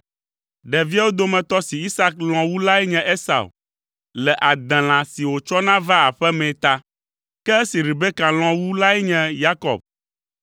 Ɖeviawo dometɔ si Isak lɔ̃ wu lae nye Esau, le adelã si wòtsɔna vaa aƒe mee ta; ke esi Rebeka lɔ̃ wu lae nye Yakob.